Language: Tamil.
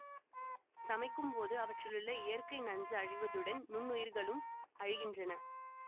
சமைக்கும் போது அவற்றிலுள்ள இயற்கை நஞ்சு அழிவதுடன் நுண்ணுயிர்களும் அழிகின்றன